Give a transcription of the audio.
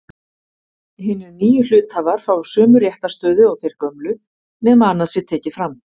Hinir nýju hluthafar fá sömu réttarstöðu og þeir gömlu nema annað sé tekið fram.